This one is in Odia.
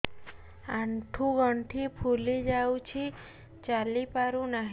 ଆଂଠୁ ଗଂଠି ଫୁଲି ଯାଉଛି ଚାଲି ପାରୁ ନାହିଁ